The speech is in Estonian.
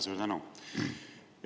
Suur tänu!